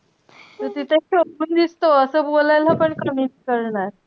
तू तिथेच शोभून दिसतो असं बोलायला पण कमी नाई करणार.